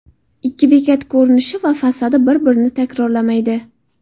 Ikki bekat ko‘rinishi va fasadi bir-birini takrorlamaydi.